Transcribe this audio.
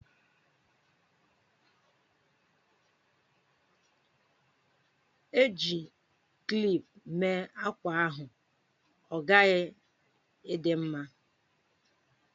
E ji krep mee ákwá ahụ, ọ ghaghị ịdị mma!